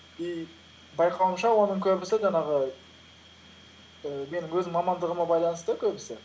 и байқауымша оның көбісі жаңағы ііі менің өз мамандығыма байланысты көбісі